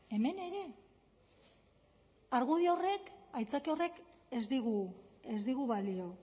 hemen ere argudio horrek aitzakia horrek ez digu ez digu balio